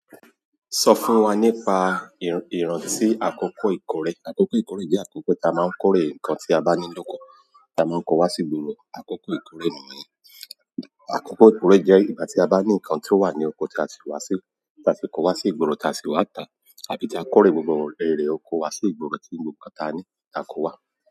Sọ fún wa nípa ìrántì akọkọ ìkórè. Akọkọ ìkórè jẹ́ akọkọ tí a máa ń kórè nǹkan tí a bá ní lóko, tí a máa ń kó wá sí ìgboro. Akọkọ ìkórè ni ìwọ̀nyí. Akọkọ ìkórè jẹ́ ìgbà tí a bá ní ǹnkan tí ó wà ní oko tí a sì wá sí, tí a sì kó wá sí ìgboro tí a sì wá tà ábí tí a kórè gbogbo èrè oko wa sí ìgboro tí ń gbo nǹkan tí a ní ta ko wá.